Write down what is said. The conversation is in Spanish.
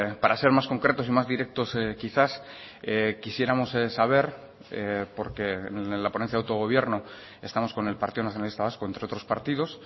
para ser más concretos y más directos quizás quisiéramos saber porque en la ponencia de autogobierno estamos con el partido nacionalista vasco entre otros partidos